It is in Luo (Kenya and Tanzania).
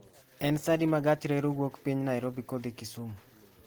en sa adi ma gach reru wuok piny nairobi kodhi kisumu